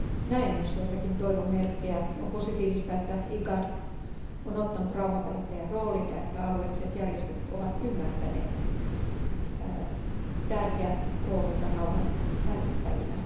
Näen myös joitakin toivon merkkejä on positiivista, että Igad on ottanut rauhanvälittäjän roolin ja että alueelliset järjestöt ovat ymmärtäneet tärkeän roolinsa rauhanvälittäjinä.